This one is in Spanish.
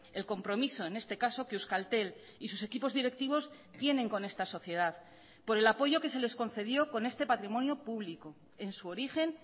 el compromiso en este caso que euskaltel y sus equipos directivos tienen con esta sociedad por el apoyo que se les concedió con este patrimonio público en su origen